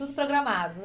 Tudo programado.